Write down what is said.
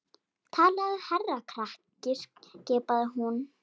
Talaðu hærra krakki skipaði hún.